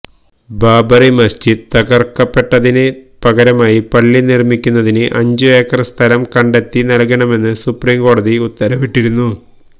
ബാബറി മസ്ജിദ് തകർക്കപ്പെട്ടതിന് പകരമായി പള്ളി നിർമ്മിക്കുന്നതിന് അഞ്ച് ഏക്കർ സ്ഥലം കണ്ടെത്തി നൽകണമെന്ന് സുപ്രീം കോടതി ഉത്തരവിട്ടിരുന്നു